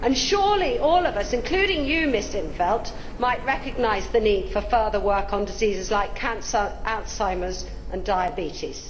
And surely all of us, including Ms in't Veld, might recognise the need for further work on diseases like cancer, Alzheimer's and diabetes.